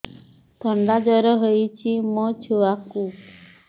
ଥଣ୍ଡା ଜର ହେଇଚି ମୋ ଛୁଆକୁ